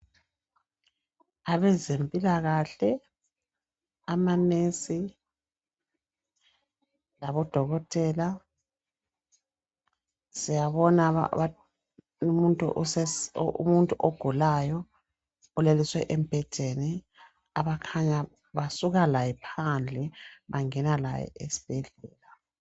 Abezempilakahle, amanesi labodokotela. Siyabona umuntu ogulayo olaliswe embhedeni abakhanya basuka laye phandle bangena laye esibhedlela.